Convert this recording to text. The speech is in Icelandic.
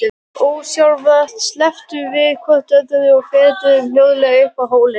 Ósjálfrátt slepptum við hvort öðru og fetuðum hljóðlega upp hólinn.